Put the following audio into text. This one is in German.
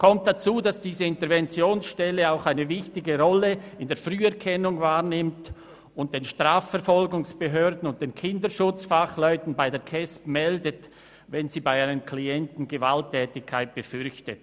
Zudem nimmt diese Interventionsstelle auch eine wichtige Rolle in der Früherkennung wahr und meldet den Strafverfolgungsbehörden und den Kinderschutzfachleuten bei der Kindes- und Erwachsenenschutzbehörde (KESB), wenn sie bei einem Klienten Gewalttätigkeit befürchtet.